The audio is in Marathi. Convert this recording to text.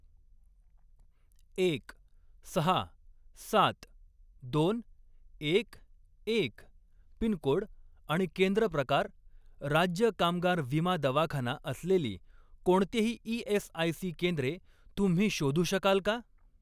एक, सहा, सात, दोन, एक, एक पिनकोड आणि केंद्र प्रकार राज्य कामगार विमा दवाखाना असलेली कोणतीही ई.एस.आय.सी. केंद्रे तुम्ही शोधू शकाल का?